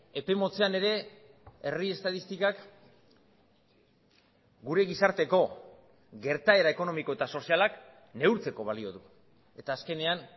epe motzean ere herri estatistikak gure gizarteko gertaera ekonomiko eta sozialak neurtzeko balio du eta azkenean